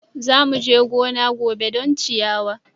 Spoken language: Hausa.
Za mu je gona gobe don ciyawa.